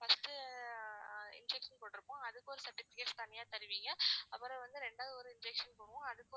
first உ injection போடுறப்போ அதுக்கு ஒரு certificates தனியா தருவீங்க அப்புறம்வந்து ரெண்டாவது ஒரு injection போடுவோம்